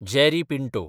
Jerry Pinto